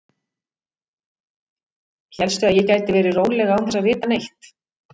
Hélstu að ég gæti verið róleg án þess að vita neitt?